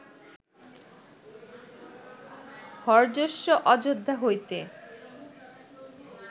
হর্যশ্ব অযোধ্যা হইতে